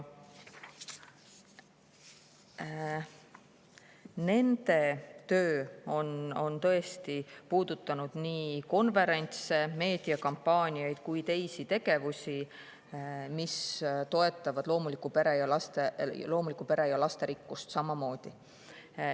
Nende töö on tõesti puudutanud konverentse, meediakampaaniaid ning teisi tegevusi, mis toetavad loomulikku peret ja lasterikkust samamoodi.